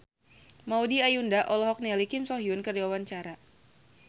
Maudy Ayunda olohok ningali Kim So Hyun keur diwawancara